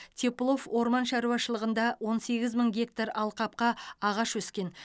теплов орман шаруашылығында он сегіз мың гектар алқапқа ағаш өскен